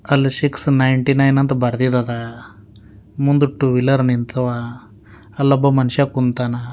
ಅಲ್ six ninety nine ಅಂತ ಬರೆದಿದದ ಮುಂದು ಟು ವೀಲರ್ ನಿಂತವ ಅಲ್ಲೊಬ್ಬ ಮನುಷ್ಯ ಕುಂತಾನ.